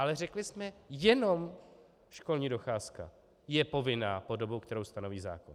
Ale řekli jsme jenom školní docházka je povinná po dobu, kterou stanoví zákon.